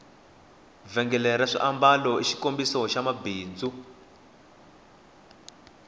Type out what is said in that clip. vhengele ra swiambalo i xikombiso xa bindzu